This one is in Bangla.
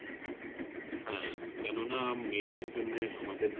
হ্যাঁ কেননা মেয়েদের জন্যে আমাদের